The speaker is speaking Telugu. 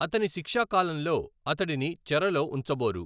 అతని శిక్షా కాలంలో అతడిని చెరలో ఉంచబోరు.